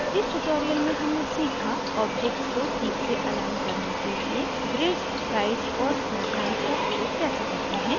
इस tutorial में हमने सीखा objects को ठीक से अलाइन करने के लिए grids guides और snap lines का प्रयोग कैसे करते हैं